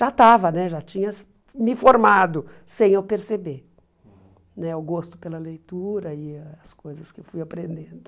Já estava né, já tinha me formado sem eu perceber né o gosto pela leitura e as coisas que eu fui aprendendo.